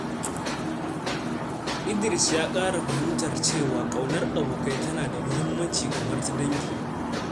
Idris ya ƙara fahimtar cewa ƙaunar abokai tana da muhimmanci kamar ta dangi.